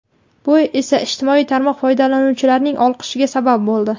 Bu esa ijtimoiy tarmoq foydalanuvchilarining olqishiga sabab bo‘ldi.